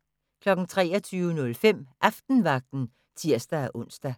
23:05: Aftenvagten (tir-ons)